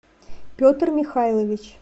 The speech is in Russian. петр михайлович